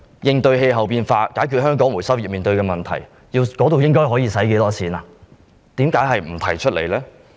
應對氣候變化，解決香港回收業面對的問題，花費多少錢，為何隻字不提？